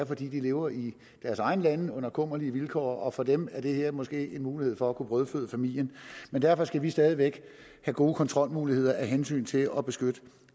fordi de lever i deres egne lande under kummerlige vilkår og for dem er det her måske en mulighed for at kunne brødføde familien men derfor skal vi stadig væk have gode kontrolmuligheder af hensyn til at beskytte